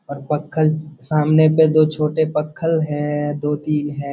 और पक्खल सामने पे दो छोटे पक्खल है दो-तीन है।